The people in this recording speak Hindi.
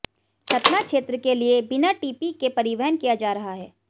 सतना क्षेत्र के लिए बिना टीपी के परिवहन किया जा रहा है